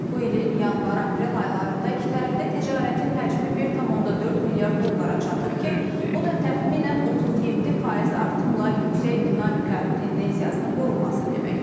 Bu ilin yanvar-aprel aylarında ikitərəfli ticarətin həcmi 1,4 milyard dollara çatıb ki, bu da təxminən 37% artımla yüksək dinamika tendensiyasının qorunması deməkdir.